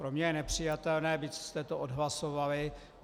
Pro mě je nepřijatelné, byť jste to odhlasovali.